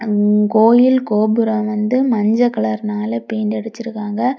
கோயில் கோபுரம் வந்து மஞ்ச கலர்னால பெயிண்ட் அடிசிருக்காங்க.